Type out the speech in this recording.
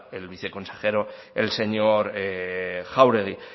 el viceconsejero el señor jáuregui